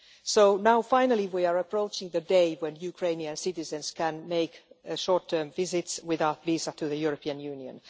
So now, finally, we are approaching the day when Ukrainian citizens can make short term visits without a visa to the European Union.